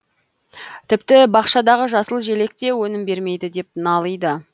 тіпті бақшадағы жасыл желек те өнім бермейді деп налиды